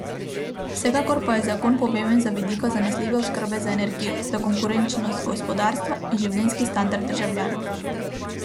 Vsekakor pa je zakon pomemben z vidika zanesljive oskrbe z energijo, za konkurenčnost gospodarstva in življenjski standard državljanov.